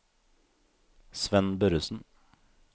Svenn Børresen